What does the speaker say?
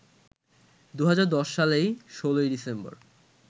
২০১০ সালের ১৬ই ডিসেম্বর